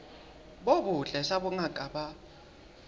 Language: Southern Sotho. bo botle sa bongaka ba